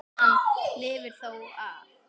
Hann lifir það þó af.